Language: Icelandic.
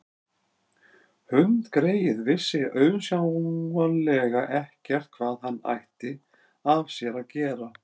Hundgreyið vissi auðsjáanlega ekkert hvað hann ætti af sér að gera.